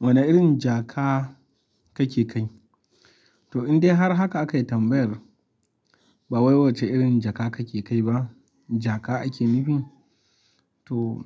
Wane irin jaka kake kai? To, in dai har haka akai tambayar, ba wai wace irin jaka kake kai ba, jaka ake nufi? To,